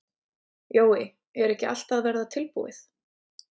Jói, er ekki allt að verða tilbúið?